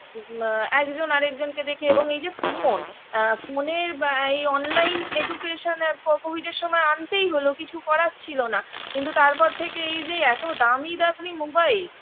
আ একজন আরেকজনকে দেখি এবং এই যে phone phone -এ আ online education এর covid -এর সময় আনতেই হলো কিছু করার ছিল না কিন্তু তারপর থেকে এই যে এত দামি দামি mobile